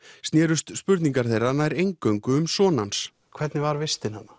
snerust spurningarnar nær eingöngu um son hans hvernig var vistin þarna